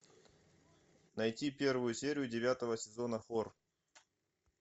найти первую серию девятого сезона фор